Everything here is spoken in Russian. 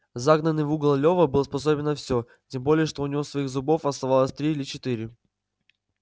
загнанный в угол лева был способен на все тем более что у него своих зубов оставалось три или четыре